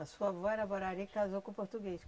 A sua avó era borari e casou com português.